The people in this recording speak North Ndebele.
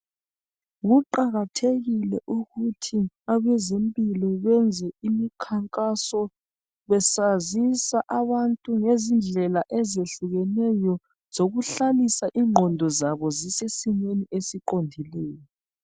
kuqakathekile ukuthi abazemphilo benze imkhankaso besazisa abantu ngendlela izihlukheneyo zokuhlalisa ingondo zabo zisesimeni esiqodileyo.